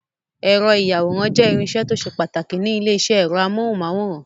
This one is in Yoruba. Ẹ̀rọ ìyàwòrán jẹ́ irinṣẹ́ tó ṣe pàtàkì ní ilé-iṣẹ́ ẹ̀rọ amóhùmáwòhán.